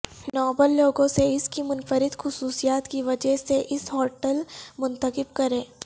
Nobel لوگوں سے اس کی منفرد خصوصیات کی وجہ سے اس ہوٹل منتخب کریں